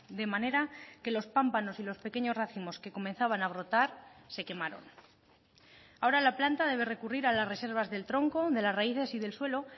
de manera que los pámpanos y los pequeños racimos que comenzaban a brotar se quemaron ahora la planta debe recurrir a las reservas del tronco de las raíces y del suelo